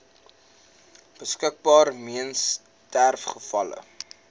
beskikbaar weens sterfgevalle